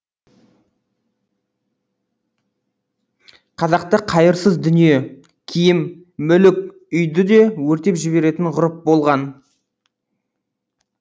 қазақта қайырсыз дүние киім мүлік үйді де өртеп жіберетін ғұрып болған